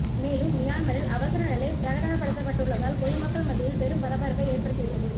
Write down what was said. மேலும் மியான்மரில் அவசர நிலை பிரகடனப்படுத்தப்பட்டுள்ளதால் பொதுமக்கள் மத்தியில் பெரும் பரபரப்பை ஏற்படுத்தி உள்ளது